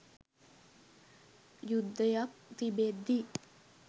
යුද්ධයක් තිබෙද්දී